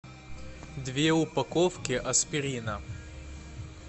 две упаковки аспирина